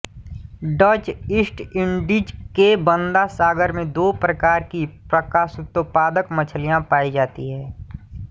Dutch East Indies के Banda सागर में दो प्रकार की प्रकाशोत्पादक मछलियाँ पाई जाती हैं